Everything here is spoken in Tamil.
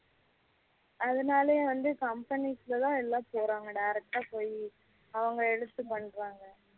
அதனாலயே வந்து company க்குள்ள எல்லா போறாங்க direct போய் அவங்க எடுத்து பண்ணுறாங்க